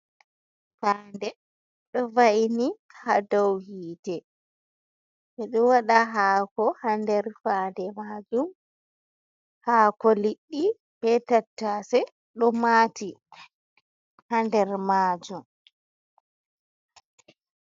Faa'nde ɗo va’ini ha dou hite. Ɓedo waɗa haako ha nder faa'nde majum. Hako liɗɗi be tattase do mati ha nder majum.